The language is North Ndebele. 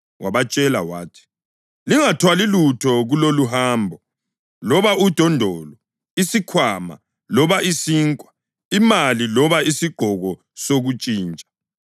Wabatshela wathi, “Lingathwali lutho kuloluhambo, loba udondolo, isikhwama, loba isinkwa, imali loba isigqoko sokuntshintsha.